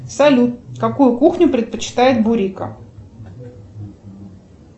салют какую кухню предпочитает бурико